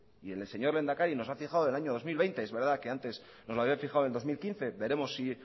y el señor lehendakari nos ha fijado en el año dos mil veinte es verdad que antes nos lo había fijado en el dos mil quince veremos si